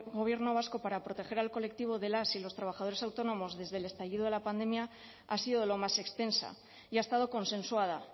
gobierno vasco para proteger al colectivo de las y los trabajadores autónomos desde el estallido de la pandemia ha sido lo más extensa y ha estado consensuada